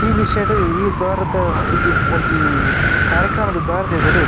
ಈ ವಿಷ್ಯಡ್ ಈ ದ್ವಾರದ ಒಂಜಿ ಒಂಜಿ ಕಾರ್ಯಕ್ರಮದ ದ್ವಾರದ ಎದುರು --